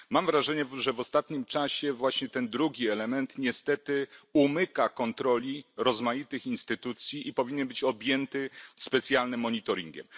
Mam wrażenie, że w ostatnim czasie właśnie ten drugi element niestety umyka kontroli rozmaitych instytucji i powinien być objęty specjalnym monitoringiem.